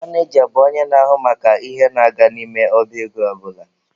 Maneja bụ onye na-ahụ maka ihe na-aga n'ime ọba ego ọ bụla.